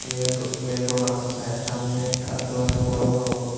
main road main road সামনে একটা আশেপাশে বড় বড়--